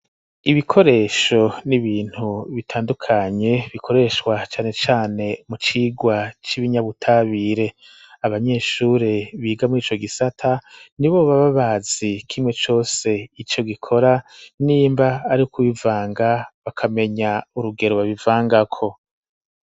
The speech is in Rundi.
Ibikoresho n'ibintu bitandukanye bikoreshwa cane cane mu cirwa c'ibinyabutabire abanyeshure biga murico gisata nibo baba bazi kimwe cose ico gikora nimba ari ku bivanga bakamenya urugero babivangako.